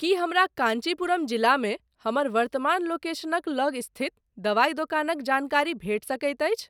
की हमरा कँचीपुरम जिलामे हमर वर्तमान लोकेशनक लग स्थित दवाइ दोकानक जानकारी भेटि सकैत अछि?